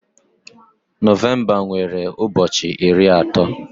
Nọvemba nwere ụbọchị iri atọ